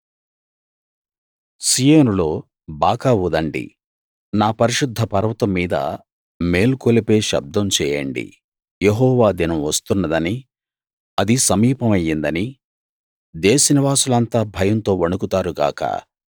సీయోనులో బాకా ఊదండి నా పరిశుద్ధ పర్వతం మీద మేల్కొలిపే శబ్దం చేయండి యెహోవా దినం వస్తున్నదనీ అది సమీపమయ్యిందనీ దేశనివాసులంతా భయంతో వణకుతారు గాక